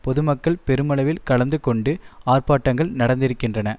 பொதுமக்கள் பெருமளவில் கலந்து கொண்டு ஆர்ப்பாட்டங்கள் நடந்திருக்கின்றன